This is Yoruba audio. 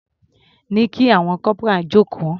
Ní kí àwọn corporal jókòó.